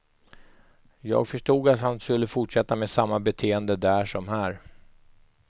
Jag förstod att han skulle fortsätta med samma beteende där som här.